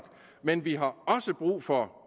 men vi har også brug for